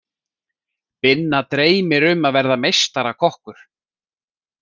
Binna dreymir um að verða meistarakokkur.